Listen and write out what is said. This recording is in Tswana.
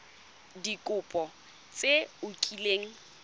ka dikopo tse o kileng